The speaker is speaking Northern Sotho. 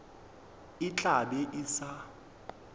e tla be e sa